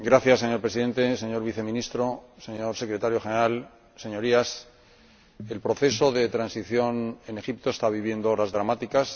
Señor Presidente, señor Viceministro, señor Secretario General, Señorías, el proceso de transición en Egipto está viviendo horas dramáticas.